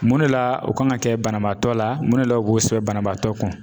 Mun de la o kan ka kɛ banabaatɔ la, mun de la, u b'o sɛbɛn banabaatɔ kun